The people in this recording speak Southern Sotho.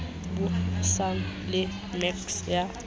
bui sana le mec ya